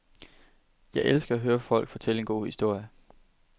Jeg elsker at høre folk fortælle en god historie.